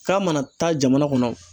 K'a mana taa jamana kɔnɔ